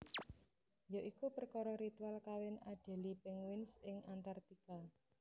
Ya iku perkara ritual kawin Adelie Penguins ing Antartika